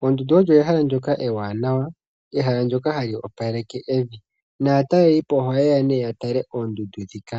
Oondundu olyo ehala ndyoka ewanawa, ehala ndyoka hali opaleke evi naatalelipo oha yeya nee ya tale oondundu ndhika.